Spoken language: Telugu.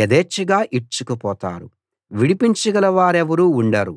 యధేచ్ఛగా ఈడ్చుకుపోతారు విడిపించగల వారెవరూ ఉండరు